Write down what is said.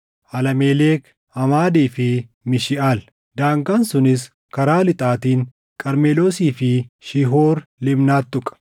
Alaamelek, Amaadii fi Mishiʼaal. Daangaan sunis karaa lixaatiin Qarmeloosii fi Shiihoor Libnaat tuqa.